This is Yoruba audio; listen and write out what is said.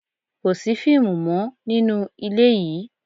Kò sí fíìmù mọ nínú ilé yìí!